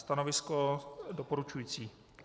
Stanovisko doporučující.